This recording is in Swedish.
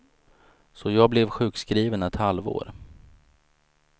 Så jag blev sjukskriven ett halvår.